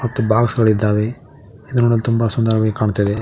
ಮತ್ತು ಬಾಕ್ಸ್ ಗಳು ಇದ್ದಾವೆ ಇದು ನೋಡಲು ತುಂಬ ಸುಂದರವಾಗಿ ಕಾಣ್ತಾ ಇದೆ.